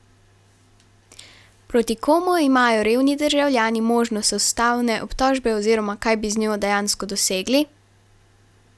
Proti komu imajo revni državljani možnost ustavne obtožbe oziroma kaj bi z njo dejansko dosegli?